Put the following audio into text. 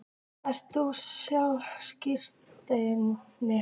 Ert þú sitjandi?